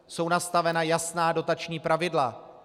Jsou nastavena jasná dotační pravidla.